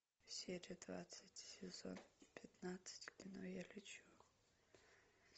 серия двадцать сезон пятнадцать кино я лечу